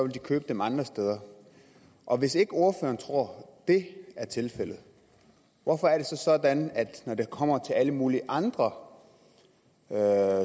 de købe dem andre steder og hvis ikke ordføreren tror det er tilfældet hvorfor er det så sådan at når det kommer til alle mulige andre